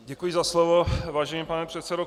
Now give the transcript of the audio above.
Děkuji za slovo, vážený pane předsedo.